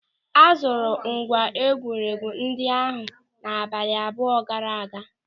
A zụrụ ngwa egwuregwu ndị ahụ abalị abụọ gaara aga.